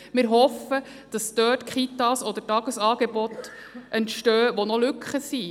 Wir hoffen, dass Kitas oder Tagesangebote dort entstehen, wo noch Lücken sind.